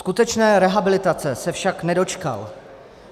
Skutečné rehabilitace se však nedočkal.